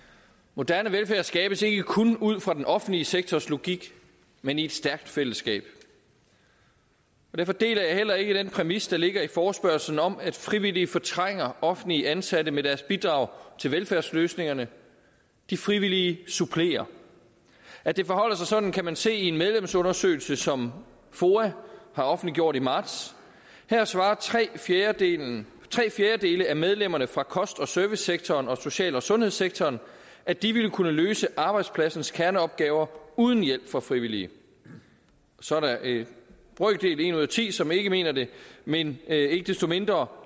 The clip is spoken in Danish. moderne velfærd skabes ikke kun ud fra den offentlige sektors logik men i et stærkt fællesskab og derfor deler jeg heller ikke den præmis der ligger i forespørgslen om at frivillige fortrænger offentligt ansatte med deres bidrag til velfærdsløsningerne de frivillige supplerer at det forholder sig sådan kan man se i en medlemsundersøgelse som foa har offentliggjort i marts her svarer tre fjerdedele tre fjerdedele af medlemmerne fra kost og servicesektoren og social og sundhedssektoren at de ville kunne løse arbejdspladsens kerneopgaver uden hjælp fra frivillige så er der en brøkdel en ud af ti som ikke mener det men ikke desto mindre